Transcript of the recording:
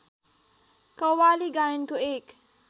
कव्वाली गायनको एक